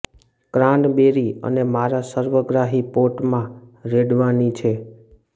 cranberry અને મારા સર્વગ્રાહી પોટ માં રેડવાની છે